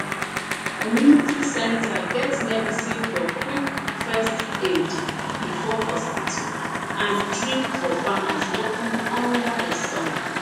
community center get medicine for quick first aid before hospital and drink for farmers working under the sun